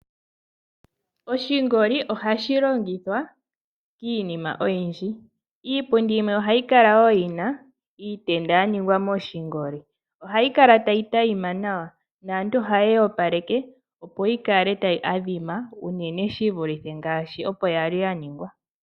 Oshingoli ohashi longithwa miinima oyindji, iipundi yimwe ohayi kala wo yina iitenda ya ningwa moshingoli, ohayi kala tayi tayima nawa naantu ohaye yi opaleke opo yi kale tayi adhima uunene shi vulithe ngaashi opo ya li ya ningwa.